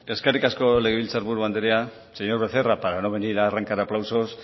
eskerrik asko legebiltzar buru andrea señor becerra para no venir a arrancar aplausos